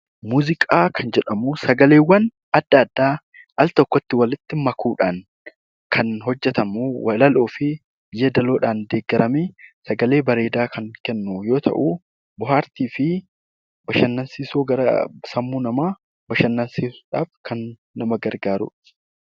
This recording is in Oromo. Muuziqaa kan jedhamu sagaleewwan adda addaa altokkotti walitti makuudhaan kan hojjetamu, walaloo fi yeedaloodhaan deeggaramee sagalee bareedaa kan kennu yoo ta'u, bohaartii fi bashannansiisuu sammuu namaa bashannansiisuudhaaf kan nama gargaaruu dha.